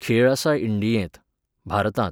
खेळ आसा इंडियेंत, भारतांत.